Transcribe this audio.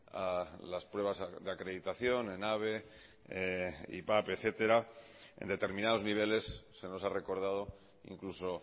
a las pruebas de acreditación en habe ivap etcétera en determinados niveles se nos ha recordado incluso